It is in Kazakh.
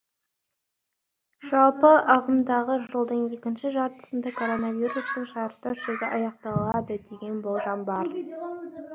жалпы ағымдағы жылдың екінші жартысында коронавирустың шарықтау шегі аяқталады деген болжам бар